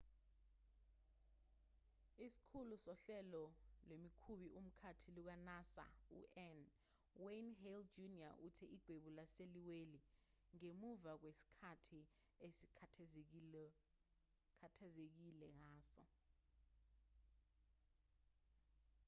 isikhulu sohlelo lwemikhumbi-mkhathi luka-nasa u-n wayne hale jr uthe igwebu lase liwile ngemuva kwesikhathi esikhathazekile ngazo